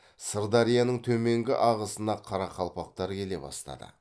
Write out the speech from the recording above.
сырдарияның төменгі ағысына қарақалпақтар келе бастады